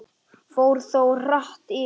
Fór þó hratt yfir.